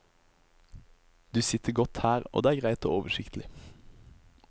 Du sitter godt her, og det er greit og oversiktlig.